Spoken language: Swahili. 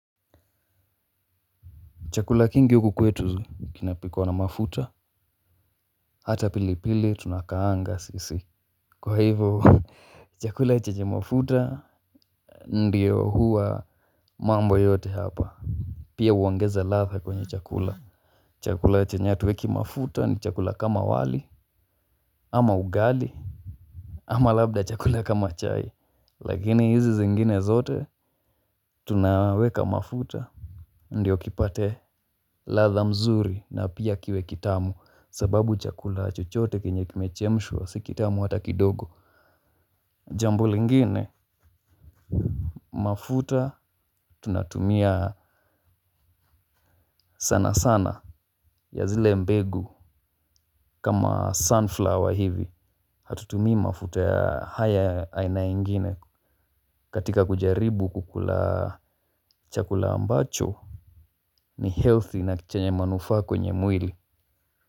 Chakula kingi huku kwetu kinapikwa na mafuta, hata pili pili tunakaanga sisi. Kwa hivyo chakula chenye mafuta ndio huwa mambo yote hapa. Pia huongeza ladha kwenye chakula. Chakula chenye hatuweki mafuta ni chakula kama wali, ama ugali. Ama labda chakula kama chai, lakini hizi zingine zote tunaweka mafuta. Ndiyo kipate ladha mzuri na pia kiwe kitamu sababu chakula chochote kenye kimechemshwa si kitamu hata kidogo. Jambo lingine mafuta tunatumia sana sana ya zile mbegu kama sunflower hivi. Hatutumii mafuta ya haya aina ingine katika kujaribu kukula chakula ambacho ni healthy na chenye manufaa kwenye mwili.